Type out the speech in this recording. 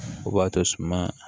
O b'a to suma